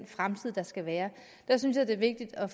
fremtid der skal være der synes jeg det er vigtigt at